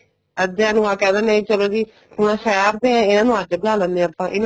ਅਧਿਆ ਨੂੰ ਆ ਕਹਿ ਦੇਨੇ ਚਲੋ ਜੀ ਹੁਣ ਸ਼ਹਿਰ ਦੇ ਏ ਇਹਨਾ ਨੂੰ ਅੱਡ ਬਿਠਾ ਲੈਂਦੇ ਆ ਆਪਾਂ ਇਹਨਾ